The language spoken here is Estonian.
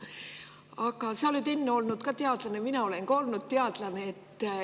Aga sa oled olnud teadlane, mina olen ka olnud teadlane.